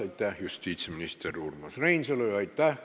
Aitäh, justiitsminister Urmas Reinsalu!